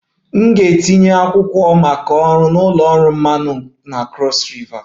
M ga-etinye akwụkwọ maka ọrụ na ụlọ ọrụ mmanụ na Cross river